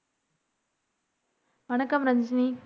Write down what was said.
வணக்கம் ரஞ்சினி